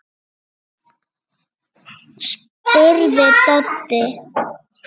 spurði Doddi.